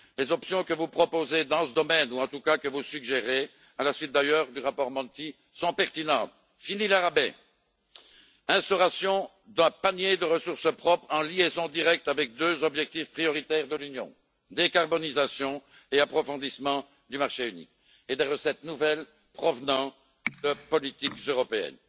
Les options que vous proposez dans ce domaine, ou en tout cas que vous suggérez, à la suite d'ailleurs du rapport Monti, sont pertinentes fini les rabais, instauration d'un panier de ressources propres, en liaison directe avec deux objectifs prioritaires de l'Union décarbonisation et approfondissement du marché unique et des recettes nouvelles provenant de politiques européennes.